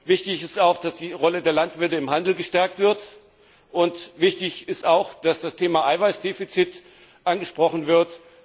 Wichtig ist auch, dass die Rolle der Landwirte im Handel gestärkt wird und wichtig ist auch, dass das Thema Eiweißdefizit angesprochen wird.